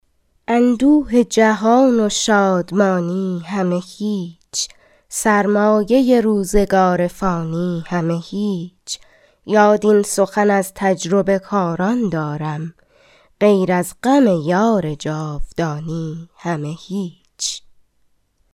اندوه جهان و شادمانی همه هیچ سرمایه روزگار فانی همه هیچ یاد این سخن از تجربه کاران دارم غیر از غم یار جاودانی همه هیچ